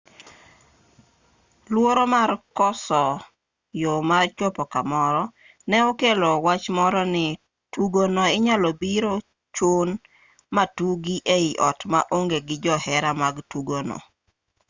luoro mar koso yo mar chopo kamoro ne okelo wachmoro ni tugono inyalo biro chun matugi e i ot ma onge gi johera mag tugono